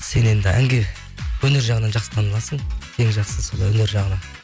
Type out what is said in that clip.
сен енді әнге өнер жағынан жақсы таныласың ең жақсысы сол өнер жағынан